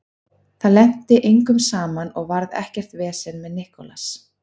Það lenti engum saman og varð ekkert vesen með Nicolas.